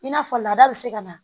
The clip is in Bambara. I n'a fɔ laada bɛ se ka na